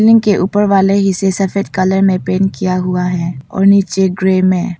के ऊपर वाले हिस्से सफेद कलर में पेंट किया हुआ है और नीचे ग्रे में है।